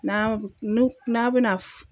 N'an nu n'a bɛna